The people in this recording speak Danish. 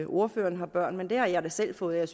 ordføreren har børn men det har jeg da selv og jeg